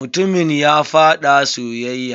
Mutumin ya faɗa soyayya.